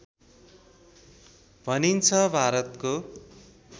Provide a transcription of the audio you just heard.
भनिन्छ भारतको